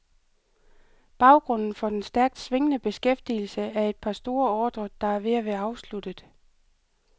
Baggrunden for den stærkt svingende beskæftigelse er et par store ordrer, der er ved at være afsluttet.